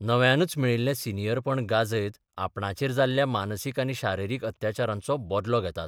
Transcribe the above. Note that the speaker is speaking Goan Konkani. नव्यानच मेळिल्ले सनियरपण गाजयत आपणाचेर जाल्ल्या मानसीक आनी शारिरीक अत्याचारांचो बदलो घेतात.